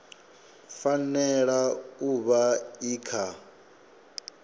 fanela u vha i kha